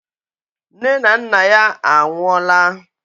Nne na nna ya anwụọ laa.